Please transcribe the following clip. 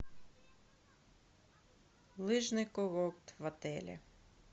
лыжный курорт в отеле